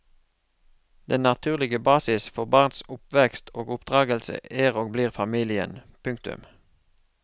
Den naturlige basis for barns oppvekst og oppdragelse er og blir familien. punktum